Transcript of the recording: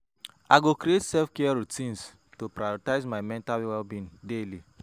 I go create self-care routines to prioritize my mental well-being daily.